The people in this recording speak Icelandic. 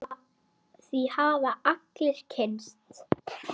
Því hafa allir kynnst.